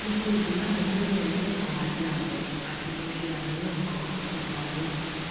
mo se igbeyamo tele odun kan ati abo ati mo se aniyan gan nipa oyun